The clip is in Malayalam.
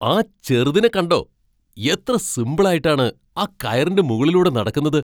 ആ ചെറുതിനെ കണ്ടോ? എത്ര സിമ്പിളായിട്ടാണ് ആ കയറിൻ്റെ മുകളിലൂടെ നടക്കുന്നത്!